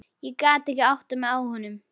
Ég gat ekki áttað mig á honum.